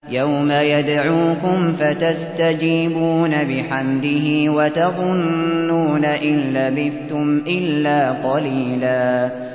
يَوْمَ يَدْعُوكُمْ فَتَسْتَجِيبُونَ بِحَمْدِهِ وَتَظُنُّونَ إِن لَّبِثْتُمْ إِلَّا قَلِيلًا